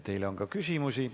Teile on ka küsimusi.